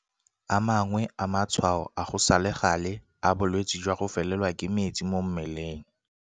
A mangwe a matshwao a go sa le gale a bolwetse jwa go felelwa ke metsi mo mmeleng